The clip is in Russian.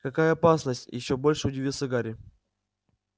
какая опасность ещё больше удивился гарри